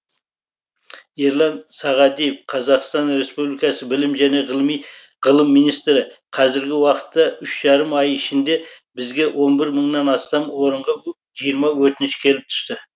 ерлан сағадиев қазақстан республикасы білім және ғылым министрі қазіргі уақытта үш жарым ай ішінде бізге он бір мыңнан астам орынға жиырма өтініш келіп түсті